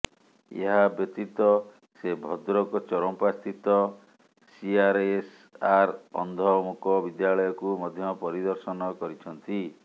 ଏହା ବ୍ୟତିତ ସେ ଭଦ୍ରକ ଚରମ୍ପା ସ୍ଥିତ ସିଆର୍ଏସ୍ଆର୍ ଅନ୍ଧ ମୁକ ବିଦ୍ୟାଳୟକୁ ମଧ୍ୟ ପରିଦର୍ଶନ କରିଛନ୍ତି